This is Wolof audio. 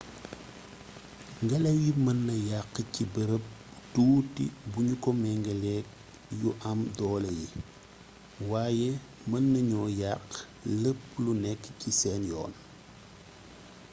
ngélaw yi meena yaxx ci beereeb bu tuuti bugnu ko mingeelék yu am doolé yi waye meennagnoo yaxx lép lu nékk ci sén yoon